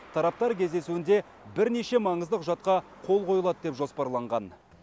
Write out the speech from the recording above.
тараптар кездесуінде бірнеше маңызды құжатқа қол қойылады деп жоспарланған